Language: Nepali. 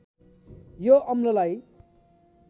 यो अम्ललाई